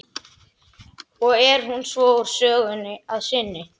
Og er hún svo úr sögunni að sinni.